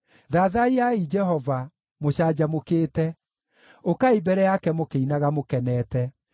Thathaiyai Jehova mũcanjamũkĩte; ũkai mbere yake mũkĩinaga mũkenete.